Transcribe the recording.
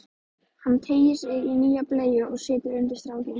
Hann teygir sig í nýja bleyju og setur undir strákinn.